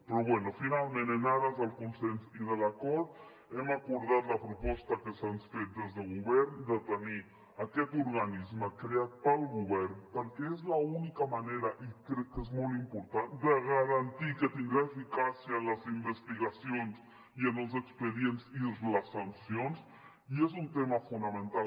però bé finalment en ares del consens i de l’acord hem acordat la proposta que se’ns ha fet des de govern de tenir aquest organisme creat pel govern perquè és l’única manera i crec que és molt important de garantir que tindrà eficàcia en les investigacions i en els expedients i en les sancions i és un tema fonamental